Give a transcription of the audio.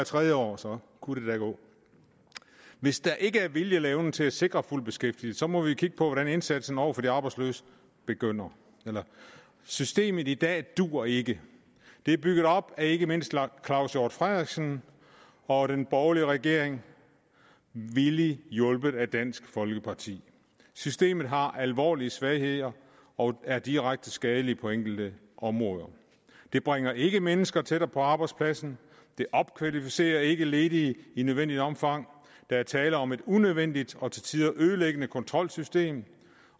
tredje år så kunne det da gå hvis der ikke er vilje eller evne til at sikre fuld beskæftigelse må vi kigge på hvordan indsatsen over for de arbejdsløse begynder systemet i dag duer ikke det er bygget op af ikke mindst herre claus hjort frederiksen og den borgerlige regering villigt hjulpet af dansk folkeparti systemet har alvorlige svagheder og er direkte skadeligt på enkelte områder det bringer ikke mennesker tættere på arbejdspladsen det opkvalificerer ikke ledige i nødvendigt omfang der er tale om et unødvendigt og til tider ødelæggende kontrolsystem